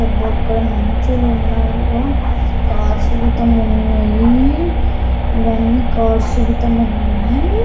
ఇక్కడ మనుచులు ఉన్నారుగా. కారు సూతం ఉన్నాయి.ఇవన్నీ కారు సూతం ఉన్నాయి.